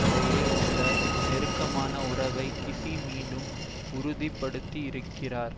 இடையே உள்ள நெருக்கமான உறவை கீஸி மீண்டும் உறுதிப்படுத்தியிருக்கிறார்